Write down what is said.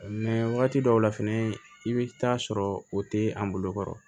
wagati dɔw la fɛnɛ i bɛ taa sɔrɔ o tɛ an bolo kɔrɔ